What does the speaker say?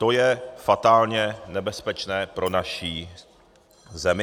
To je fatálně nebezpečné pro naši zemi.